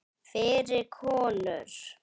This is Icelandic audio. Fyrir konur.